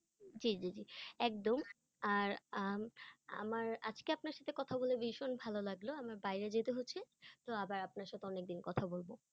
জি জি জি, একদম, আর উম আমার আজকে আপনার সাথে কথা বলে ভীষণ ভালো লাগলো আমার বাইরে যেতে হচ্ছে তো আবার আপনার সাথে অন্য এক দিন কথা বলবো।